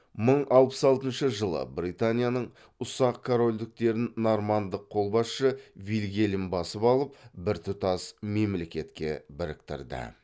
мың алпыс алтыншыь жылы британияның ұсақ корольдіктерін нормандық қолбасшы вильгельм басып алып біртұтас мемлекетке біріктірді